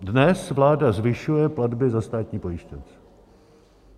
Dnes vláda zvyšuje platby za státní pojištěnce.